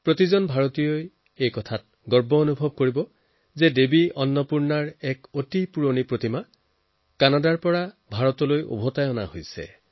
প্ৰতিগৰাকী ভাৰতীয়ই জানি সুখী হব যে অতি প্ৰাচীন দেৱী অৰ্ণপূৰ্ণাৰ প্ৰতিমা কানাডাৰ পৰা ভাৰতলৈ ঘূৰাই অনা হৈছে